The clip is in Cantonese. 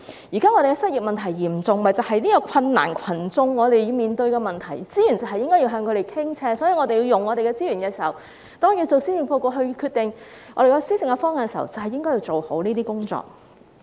現時失業問題嚴重，正是困難群眾要面對的問題，資源應向他們傾斜，所以在運用資源方面，在制訂施政報告、決定施政方向時，便應做好這些工作。